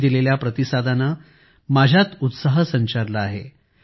तुम्ही दिलेल्या प्रतिसादाने माझ्यात उत्साह संचारला आहे